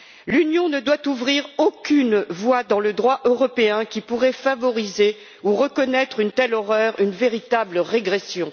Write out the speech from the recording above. L'Union ne doit ouvrir aucune voie dans le droit européen qui pourrait favoriser ou reconnaître une telle horreur, une véritable régression.